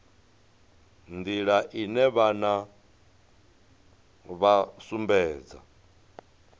nḓila ine vhana vha sumbedza